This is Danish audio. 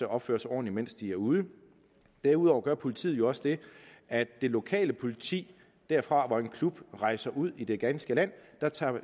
opfører sig ordentligt mens de er ude derudover gør politiet også det at det lokale politi derfra hvor en klub rejser ud i det ganske land tager